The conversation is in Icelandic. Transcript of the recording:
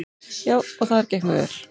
Já, og þar gekk mér vel.